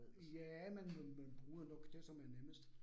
Ja, men men man bruger nok det, som er nemmest